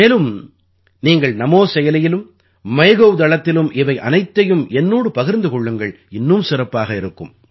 மேலும் நீங்கள் நமோ செயலியிலும் மைகவ் தளத்திலும் இவை அனைத்தையும் என்னோடு பகிர்ந்து கொள்ளுங்கள் இன்னும் சிறப்பாக இருக்கும்